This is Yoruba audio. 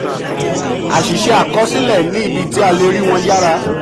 àṣìṣe àkọsílẹ ní ibi tí a le rí wọn yára.